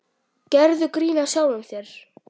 Gerðu grín að sjálfum þér.